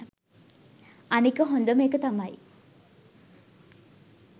අනික හොඳම එක තමයි